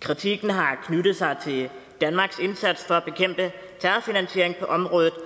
kritikken har knyttet sig til danmarks indsats for at bekæmpe terrorfinansiering på området